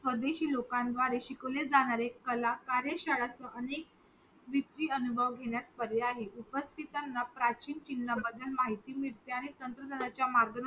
स्वदेशी लोकांद्वारे शिकवले जाणारे कला कार्य शाळेचं अनेक विपत्तीअनुभव घेण्याचं पर्याय आहे उपस्थितांना प्राचीन चिन्हा बदल माहिती मिळते आणि तंत्रज्ञाच्या मागणं